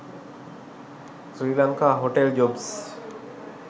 sri lanka hotel jobs